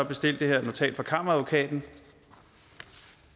bestilt det her notat fra kammeradvokaten